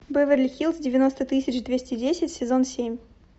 беверли хиллз девяносто тысяч двести десять сезон семь